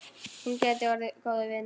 Hún gæti orðið góður vinur.